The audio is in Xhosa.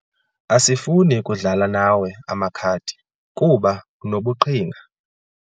Asifuni kudlala nawe amakhadi kuba unobuqhinga.